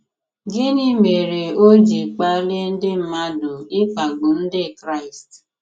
Gịnị mere o ji kpalie ndị mmadụ ịkpagbu Ndị Kraịst?